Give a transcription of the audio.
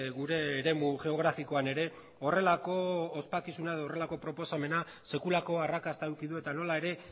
gure eremu geografikoan ere horrelako ospakizuna edo horrelako proposamena sekulako arrakasta eduki du eta nola ere